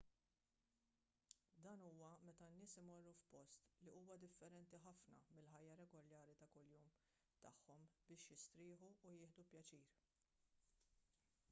dan huwa meta n-nies imorru f'post li huwa differenti ħafna mill-ħajja regolari ta' kuljum tagħhom biex jistrieħu u jieħdu pjaċir